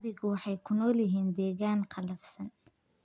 Adhigu waxay ku nool yihiin deegaan qallafsan.